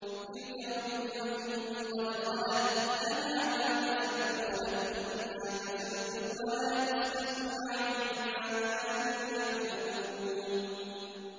تِلْكَ أُمَّةٌ قَدْ خَلَتْ ۖ لَهَا مَا كَسَبَتْ وَلَكُم مَّا كَسَبْتُمْ ۖ وَلَا تُسْأَلُونَ عَمَّا كَانُوا يَعْمَلُونَ